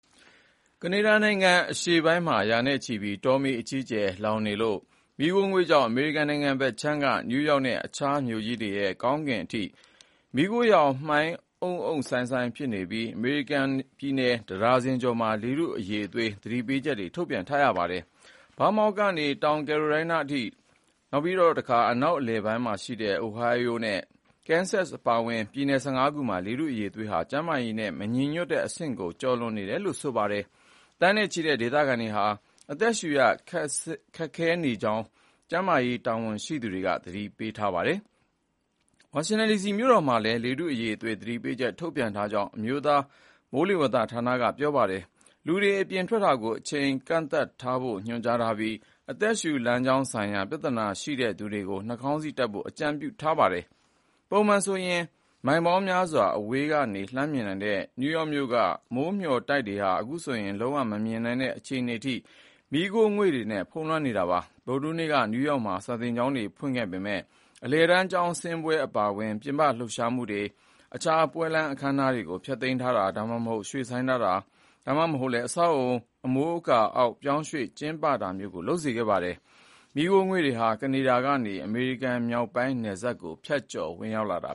ကနေဒါနိုင်ငံအရှေ့ပိုင်းမှာ ရာနဲ့ချီတဲ့ တောမီးတွေအကြီးအကျယ်လောင်ကျွမ်းရာက ထွက်လာတဲ့ မီးခိုးငွေ့ကြောင့် အမေရိကန် နိုင်ငံဘက်ခြမ်းက နယူးယောက်နဲ့ အခြားမြို့ကြီးတွေရဲ့ ကောင်းကင်အထိ မီးခိုးရောင်မှိုင်းအုံ့အုံ့ ဖြစ်နေပြီး အမေရိကန်ပြည်နယ် တဒါဇင်ကျော်မှာ လေထုအရည်အသွေး သတိပေးချက်တွေ ထုတ်ပြန်ထားရပါတယ်။ ဗားမောင့်ကနေ တောင်ကယ်ရိုလိုင်းနားအထိ၊ တခါ အနောက်အလယ်ပိုင်းရှိ အိုဟိုင်းအိုနဲ့ ကန်ဆက်စ် အပါအဝင် ပြည်နယ် ၁၅ ခုမှာ လေထုအရည်အသွေးဟာ ကျန်းမာရေးနဲ့ မညီညွတ်တဲ့ အဆင့်ဖြစ်နေပြီး အသက်ရှုရ ခက်ခဲနိုင်ကြောင်း ကျန်းမာရေး တာဝန်ရှိသူတွေက သတိပေးထားပါတယ်။ ဝါရှင်တန်ဒီစီ မြို့တော် မှာလည်း လေထုအရည်အသွေးသတိပေးချက် ထုတ်ပြန်ထားကြောင်း အမျိုးသား မိုးလေဝသဌာနက ပြောပါတယ်။ အိမ်ပြင်ထွက်ချိန်ကန့်သတ်ဖို့ ညွှန်ကြားထားပြီး အသက်ရှူလမ်းကြောင်း ဆိုင်ရာ ပြဿနာရှိတဲ့သူတွေ နှာခေါင်းစည်းတပ်ဖို့ အကြံပြုထားပါတယ်။ ပုံမှန်ဆိုရင်မိုင်ပေါင်းများစွာ အဝေးကနေ လှမ်းမြင်နိုင်တဲ့ နယူးယောက်မြို့က မိုးမျှော်တိုက်တွေဟာ အခုဆိုရင် လုံးဝ မမြင်နိုင်တဲ့ အခြေအနေအထိ မီးခိုးငွေ့တွေ ဖုံးလွှမ်းနေတာပါ။ ဗုဒ္ဓဟူးနေ့က နယူးယောက်မှာ စာသင်ကျောင်းတွေ ဖွင့်ခဲ့ပေမယ့် အလယ်တန်းကျောင်းဆင်းပွဲ အပါအဝင် ပြင်ပ လှုပ်ရှားမှုတွေ၊ အခမ်းအနားတွေကို ဖျက်သိမ်းတာ၊ ဒါမှမဟုတ် ရွှေ့ဆိုင်းတာ၊ ဒါမှမဟုတ် အဆောက်အအုံ အမိုးအကာ အောက် ပြောင်းရွှေ့ ကျင်းပတာတွေ လုပ်ခဲ့ရပါတယ်။ မီးခိုးငွေ့တွေဟာ ကနေဒါကနေပြီး အမေရိကန်မြောက်ပိုင်းနယ်စပ်ကို ဖြတ်ကျော်ဝင်ရောက်နေတာ